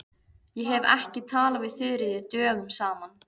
Ég hef ekki talað við Þuríði dögum saman.